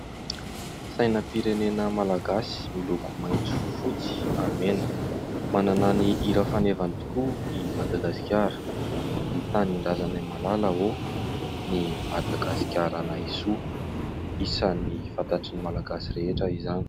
Sainam-pirenena malagasy, miloko maitso, fotsy ary mena. Manana ny hira fanevany tokoa i Madagasikara : Ry tanindrazanay malala ô, ny Madagasikaranay soa. Isan'ny fantatry ny malagasy rehetra izany.